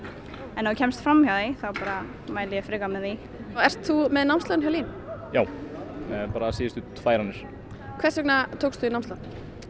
en ef þú kemst fram hjá því þá mæli ég frekar með því ert þú með námslán hjá LÍN já eða bara síðustu tvær annir hvers vegna tókstu námslán